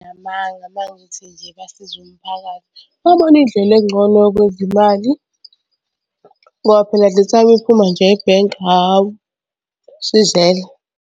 Nginamanga uma ngithi nje basiza umphakathi. Babona indlela engcono yokwenza imali ngoba phela the time iphuma nje ebhenki hhawu, isizele.